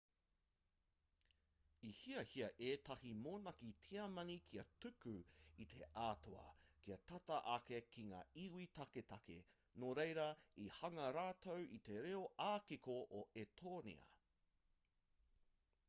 i hiahia ētahi monaki tiamani kia tuku i te atua kia tata ake ki ngā iwi taketake nō reira i hanga rātou i te reo ā-kiko o etōnia